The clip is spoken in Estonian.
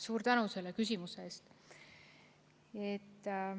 Suur tänu selle küsimuse eest!